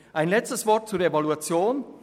Ein letztes Wort zur Evaluation: